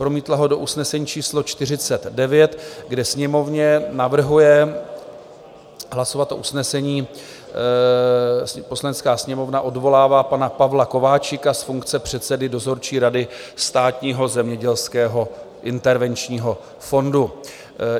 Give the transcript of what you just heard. Promítla ho do usnesení číslo 49, kde Sněmovně navrhuje hlasovat o usnesení: "Poslanecká sněmovna odvolává pana Pavla Kováčika z funkce předsedy dozorčí rady Státního zemědělského intervenčního fondu."